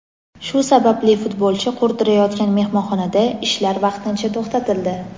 Shu sababli futbolchi qurdirayotgan mehmonxonada ishlar vaqtincha to‘xtatildi.